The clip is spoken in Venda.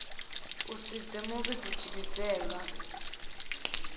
u si dze muvhidzi tshivhidzelwa